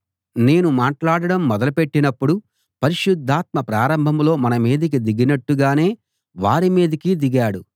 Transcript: నేను మాట్లాడడం మొదలుపెట్టినపుడు పరిశుద్ధాత్మ ప్రారంభంలో మన మీదికి దిగినట్టుగానే వారి మీదికీ దిగాడు